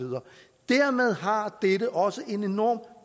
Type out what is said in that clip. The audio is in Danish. dermed har dette også en enorm